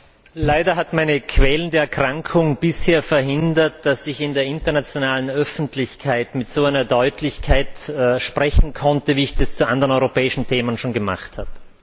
Frau Präsidentin! Leider hat meine quälende Erkrankung bisher verhindert, dass ich in der internationalen Öffentlichkeit mit so einer Deutlichkeit sprechen konnte, wie ich es zu anderen europäischen Themen schon gemacht habe.